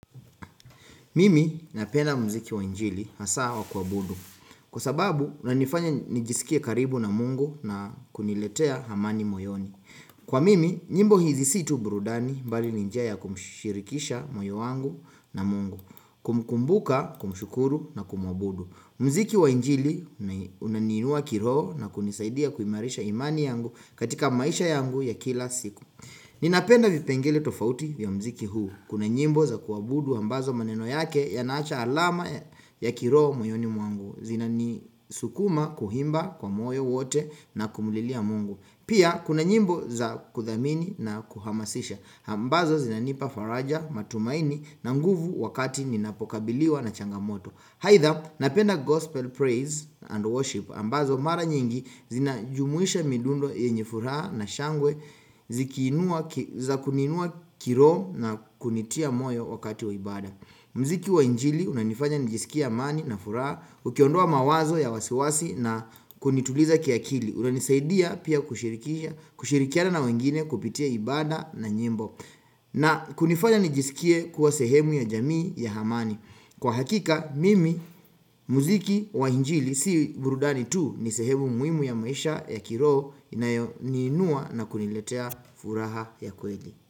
Mimi napenda mziki wa injili hasa wa kuabudu kwa sababu unanifanya nijisikie karibu na mungu na kuniletea amani moyoni. Kwa mimi, nyimbo hizi si tu burudani mbali ni njia ya kumshirikisha moyo wangu na mungu, kumkumbuka kumshukuru na kumwabudu. Mziki wa injili una unaniinua kiroho na kunisaidia kuimarisha imani yangu katika maisha yangu ya kila siku. Ninapenda vipengele tofauti vya mziki huu. Kuna nyimbo za kuwabudu ambazo maneno yake yanaacha alama ya kiroho moyoni mwangu. Zinanisukuma kuimba kwa moyo wote na kumlilia mungu. Pia kuna nyimbo za kuthamini na kuhamasisha. Ambazo zinanipa faraja matumaini na nguvu wakati ninapokabiliwa na changamoto. Haidha napenda gospel praise and worship ambazo mara nyingi zinajumuisha midundo yenye furaha na shangwe zikinuua za kuninua kiroho na kunitia moyo wakati wa ibada. Mziki wa injili unanifanya nijisikie amani na furaha, ukiondoa mawazo ya wasiwasi na kunituliza kiakili. Unanisaidia pia kushirikisha kushirikiana na wengine kupitia ibada na nyimbo. Na kunifanya nijisikie kuwa sehemu ya jamii ya amani. Kwa hakika mimi mziki wa injili si burudani tu ni sehemu muimu ya maisha ya kiroho inayoniinua na kuniletea furaha ya kweli.